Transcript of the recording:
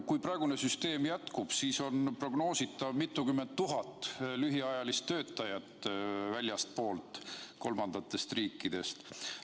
Kui praegune süsteem jätkub, siis prognoositakse mitmekümne tuhande lühiajalise töötaja saabumist kolmandatest riikidest.